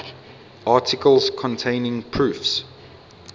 articles containing proofs